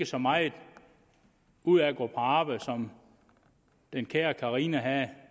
så meget ud at gå på arbejde som den kære carina havde